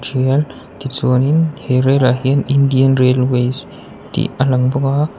tichuanin he relah hian indian railways tih a lang bawk a.